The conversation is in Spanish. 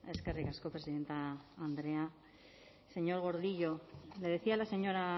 eskerrik asko presidente andrea señor gordillo le decía la señora